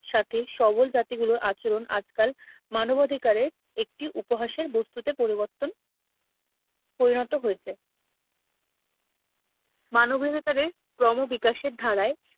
সাথে সবল জাতি গুলোর আচরণ আজকাল মানবাধিকারের একটি উপহাসের বস্তুতে পরিবর্তন পরিণত হয়েছে মানবাধিকারের ক্রমবিকাশের ধারায়